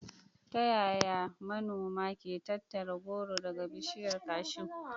Ta yaya manoma ke tattara goro daga bishiyar cashew?